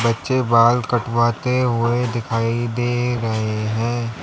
बच्चे बाल कटवाते हुए दिखाई दे रहे हैं।